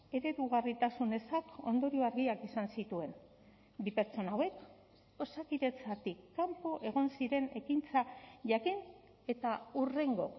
eredugarritasun ezak ondorio argiak izan zituen bi pertsona hauek osakidetzatik kanpo egon ziren ekintza jakin eta hurrengo